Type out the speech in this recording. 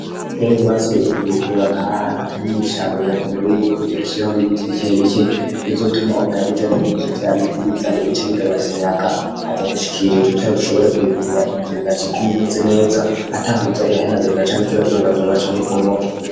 iyo wubatse inzu ukayubaka ahantu atari nw'ishamba birakenewe yuko uza urashirako n'ibiti bike bike bizotuma umuyaga uje ari mwinshi vya biti biza bica bigabanya umuyaga ukaza gushikigwa utari bushobore kuyigurura inzu igaca iguma imeze neza atakuza irahenagurika canke ize irazungazunga canke ibomoke.